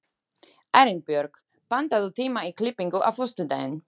Arinbjörg, pantaðu tíma í klippingu á föstudaginn.